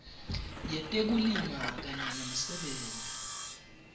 yetekulima kanye nemisebenti